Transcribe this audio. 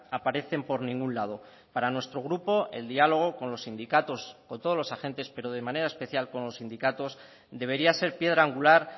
aparecen por ningún lado para nuestro grupo el diálogo con los sindicatos o todos los agentes pero de manera especial con los sindicatos debería ser piedra angular